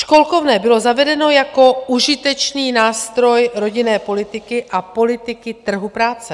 Školkovné bylo zavedeno jako užitečný nástroj rodinné politiky a politiky trhu práce.